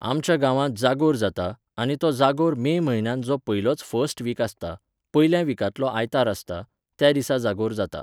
आमच्या गांवांत जागोर जाता, आनी तो जागोर मे म्हयन्यांत जो पयलोच फर्स्ट वीक आसता, पयल्या विकांतलो आयतार आसता, त्या दिसा जागोर जाता